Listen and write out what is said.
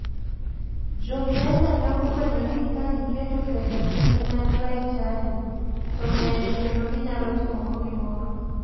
Jokenya ne ofwenyo ni ka giketo pesagi kanyakla e chadi to ng'eny kendo ginyalo timogo gimoro.